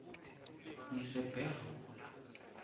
ngisebhevula